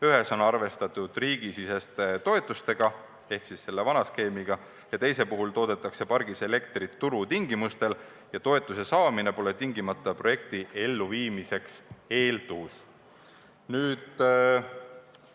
Ühes on arvestatud riigisiseste toetustega ehk siis nendega, mida saab selle vana skeemi järgi, ja teise puhul toodetaks pargis elektrit turutingimustel ja toetuse saamine pole projekti elluviimiseks hädavajalik eeldus.